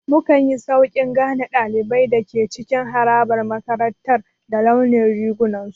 Mukanyi Sauƙin gane ɗaliban da ke cikin harabar makarantar ta launin rigunan su